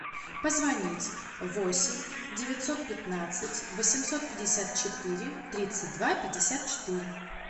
позвонить восемь девятьсот пятнадцать восемьсот пятьдесят четыре тридцать два пятьдесят четыре